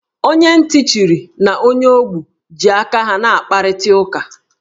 Onye ntị chiri na onye ogbi ji aka ha na-akparịta ụka